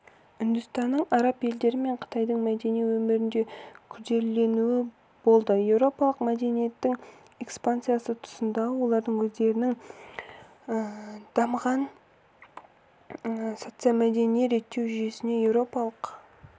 үндістанның араб елдері мен қытайдың мәдени өмірінде күрделілену болды еуропалық мәдениеттің экспансиясы тұсында олардың өздерінің дамыған социомәдени реттеу жүйесіне еуропалық